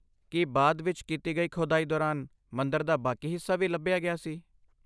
ਕੀ ਬਾਅਦ ਵਿਚ ਕੀਤੀ ਖੁਦਾਈ ਦੌਰਾਨ ਮੰਦਰ ਦਾ ਬਾਕੀ ਹਿੱਸਾ ਵੀ ਲੱਭਿਆ ਗਿਆ ਸੀ?